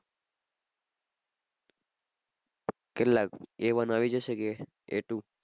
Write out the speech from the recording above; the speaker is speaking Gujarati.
કેટલા A-one આવી જશે કે A-two?